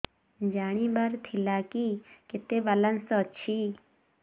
ଜାଣିବାର ଥିଲା କି କେତେ ବାଲାନ୍ସ ଅଛି